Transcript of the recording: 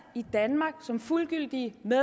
af